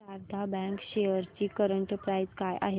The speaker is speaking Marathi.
शारदा बँक शेअर्स ची करंट प्राइस काय आहे